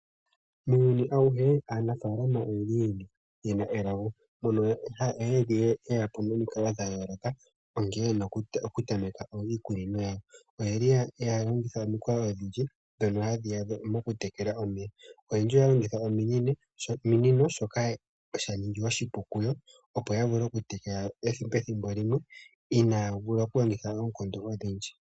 Muuyuni awuhe aanafaalama oyeli yena elago mono haya vulu okuyapo nomikalo dha yooloka nkene yena okutameka iikunino yawo oyeli haya longitha omikalo odhindji ndhono hadhi yakwatha mokutekela omeya. Oyendji ohaya ohaya longitha ominino shoka sha ningi oshipu kuyo opo yavule oku tekela pethimbo limwe inaya vula oku longitha oonkondo odhindji.